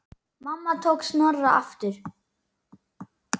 Mamma tók Snorra aftur.